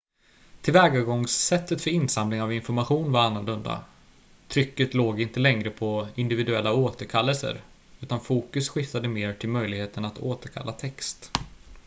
tillvägagångssättet för insamling av information var annorlunda trycket låg inte längre på individuella återkallelser utan fokus skiftade mer till möjligheten att återkalla text